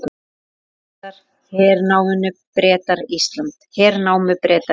Mánuði síðar hernámu Bretar Ísland.